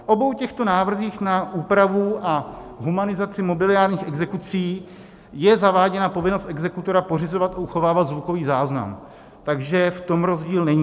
V obou těchto návrzích na úpravu a humanizaci mobiliárních exekucí je zaváděna povinnost exekutora pořizovat a uchovávat zvukový záznam, takže v tom rozdíl není.